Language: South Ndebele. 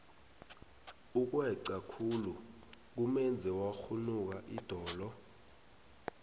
ukweca khulu kumenze wakghunuka idolo